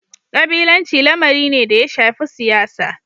Kabilanci lamari ne da ya shafi siyasa.